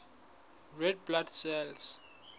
red blood cells